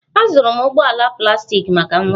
Azụrụ m ụgbọ ala plastik maka nwa m